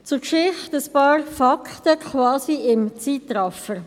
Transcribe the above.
Zur Geschichte ein paar Fakten, quasi im Zeitraffer.